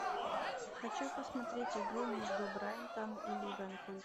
хочу посмотреть игру между брайтон и ливерпуль